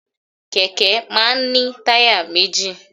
Kẹ̀kẹ́ máà ń ní táyà méjì.